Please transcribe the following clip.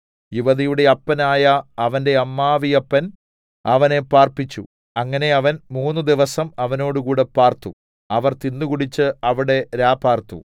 യുവതിയുടെ അപ്പനായ അവന്റെ അമ്മാവിയപ്പൻ അവനെ പാർപ്പിച്ചു അങ്ങനെ അവൻ മൂന്നുദിവസം അവനോടുകൂടെ പാർത്തു അവർ തിന്നുകുടിച്ച് അവിടെ രാപാർത്തു